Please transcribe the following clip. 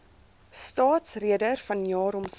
staatsrede vanjaar homself